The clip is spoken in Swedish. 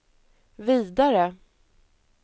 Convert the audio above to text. vidare